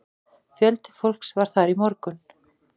Fjöldi fólks var þar í morgun